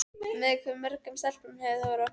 Með hve mörgum stelpum hefur þú verið á föstu?